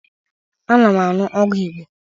Ana m aṅụ ọgwụ Igbo